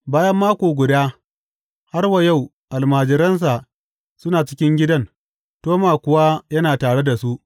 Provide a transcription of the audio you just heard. Bayan mako guda, har wa yau almajiransa suna cikin gidan, Toma kuwa yana tare da su.